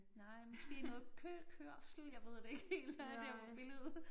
Nej måske noget køkørsel jeg ved det ikke helt hvad det er på billedet